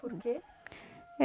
Por quê? É